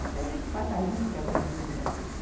Então, nesse passar limpo, você aprendia muita coisa.